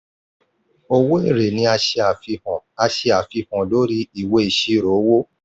owó èrè ni a ṣe àfihàn a ṣe àfihàn lórí ìwé ìṣirò owó.